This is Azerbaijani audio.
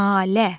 Nalə.